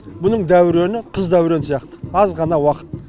бұның дәурені қыз дәурен сияқты аз ғана уақыт